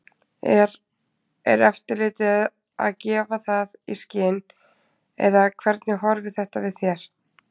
Er, er eftirlitið að gefa það í skyn eða hvernig horfir þetta við þér?